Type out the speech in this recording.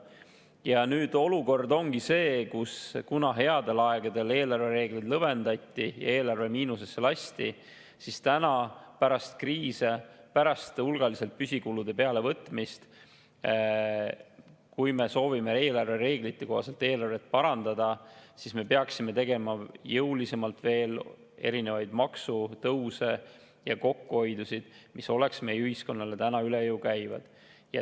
Ja nüüd olukord ongi see, et kuna headel aegadel eelarvereegleid lõdvendati ja eelarve miinusesse lasti, siis täna, pärast kriise, pärast hulgaliselt püsikulude juurde võtmist, kui me soovime eelarvereeglite kohaselt eelarvet parandada, siis me peaksime tegema jõulisemalt veel maksutõuse ja kokkuhoiukohti, mis oleks meie ühiskonnale üle jõu käivad.